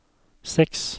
seks